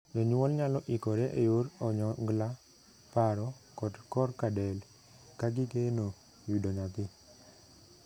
Jonyuol nyalo ikore e yor onyongla, paro, kod korka del ka gigeno yudo nyathi.